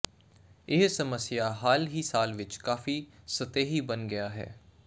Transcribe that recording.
ਇਹ ਸਮੱਸਿਆ ਹਾਲ ਹੀ ਸਾਲ ਵਿੱਚ ਕਾਫ਼ੀ ਸਤਹੀ ਬਣ ਗਿਆ ਹੈ